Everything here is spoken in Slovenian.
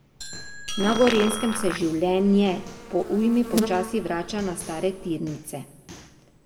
Na Gorenjskem se življenje po ujmi počasi vrača na stare tirnice.